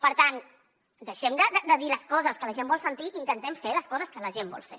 per tant deixem de dir les coses que la gent vol sentir i intentem fer les coses que la gent vol fer